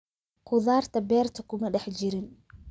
Khudaarta beerta kuma dhex jirin